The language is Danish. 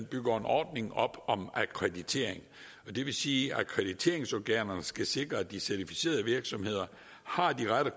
bygger en ordning op om akkreditering og det vil sige at akkrediteringsorganerne skal sikre at de certificerede virksomheder har de rette